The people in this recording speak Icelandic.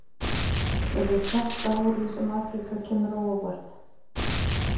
Verður þetta árið sem Afríka kemur á óvart?